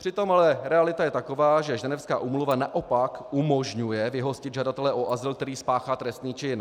Přitom ale realita je taková, že ženevská úmluva naopak umožňuje vyhostit žadatele o azyl, který spáchá trestný čin.